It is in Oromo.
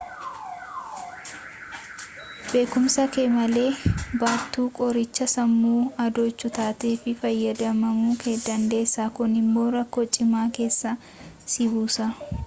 beekumsa kee malee baattuu qorichaa sammuu adoochuu taatee itti fayyadamamuu dandeessa kun immoo rakkoo cimaa keessa si buusa